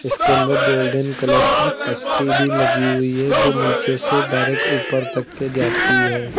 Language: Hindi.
इसके अंदर गोल्डन कलर की पट्टी भी लगी हुई है जो नीचे से डायरेक्ट ऊपर तक के जाती है।